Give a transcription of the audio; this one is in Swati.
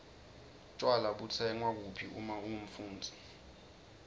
tjwala butsengwa kuphi uma ungumfundzi